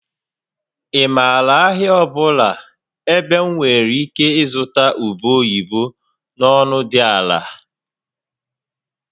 Ị maara ahịa ọ bụla ebe m nwere ike ịzụta ube oyibo na ọnụ dị ala?